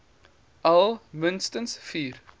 al minstens vier